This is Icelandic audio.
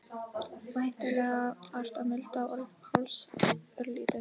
Væntanlega þarf að milda orð Páls örlítið.